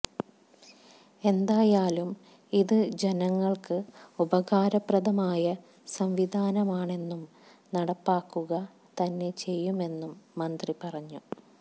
എന്തായാലും ഇത് ജനങ്ങള്ക്ക് ഉപകാരപ്രദമായ സംവിധാനമാണെന്നും നടപ്പാക്കുക തന്നെ ചെയ്യുമെന്നും മന്ത്രി പറഞ്ഞു